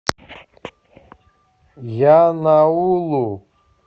янаулу